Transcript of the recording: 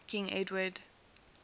king edward